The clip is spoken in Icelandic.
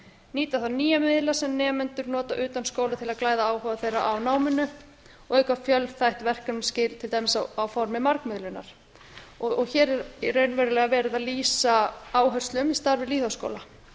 nýta þarf nýja miðla sem nemendur nota utan skóla til að glæða áhuga þeirra á náminu og auka fjölþætt verkefnaskil til dæmis á formi margmiðlunar hér er raunverulega verið að lýsa áherslum í starfi lýðháskóla